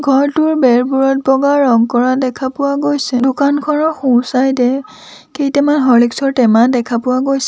ঘৰটোৰ বেৰবোৰত বগা ৰং কৰা দেখা পোৱা গৈছে দোকানখনৰ সোঁ চাইড এ কেইটামান হৰলিক্স ৰ টেমা দেখা পোৱা গৈছে।